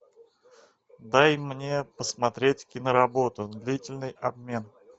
дай мне посмотреть киноработу длительный обмен